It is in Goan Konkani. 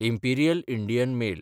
imperial Indian mail